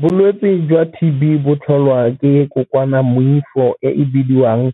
Bolwetse jwa T_B bo tlholwa ke e bidiwang